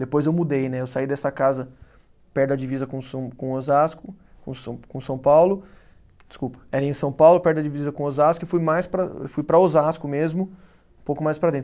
Depois eu mudei, né, eu saí dessa casa perto da divisa com São, com Osasco, com São com São Paulo, desculpa, era em São Paulo perto da divisa com Osasco e fui mais para, fui para Osasco mesmo, um pouco mais para dentro.